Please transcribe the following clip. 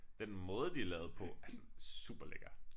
Den måde de er lavet på er sådan superlækker